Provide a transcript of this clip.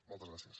moltes gràcies